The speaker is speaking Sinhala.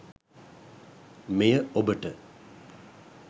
මෙය ඔබට